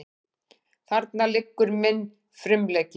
Þarna liggur minn frumleiki.